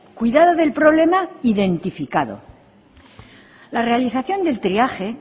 cuidado del problema identificado la realización del triaje